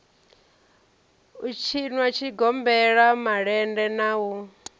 u tshinwa zwigombela malende na